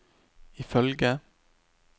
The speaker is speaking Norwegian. ifølge